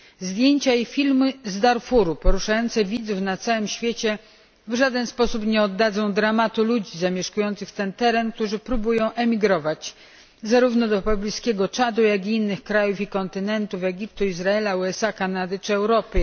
Zdjęcia i filmy z Darfuru poruszające widzów na całym świecie w żaden sposób nie oddadzą dramatu ludzi zamieszkujących ten teren, którzy próbują emigrować zarówno do pobliskiego Czadu, jak i innych krajów i kontynentu, Egiptu, Izraela, USA, Kanady czy Europy.